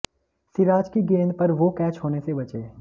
सिराज की गेंद पर वो कैच होने से बचे